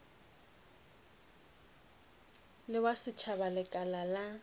le wa setšhaba lekala la